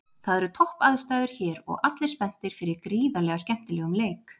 Það eru topp aðstæður hér og allir spenntir fyrir gríðarlega skemmtilegum leik